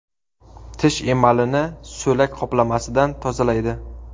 Tish emalini so‘lak qoplamasidan tozalaydi.